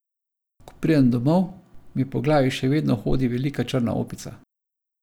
Ko pridem domov, mi po glavi še vedno hodi velika črna opica.